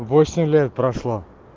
восемь лет прошло